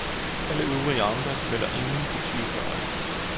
Alle øvrige amter melder ingen partiudpegede.